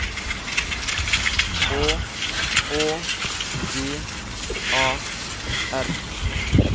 H Å V A R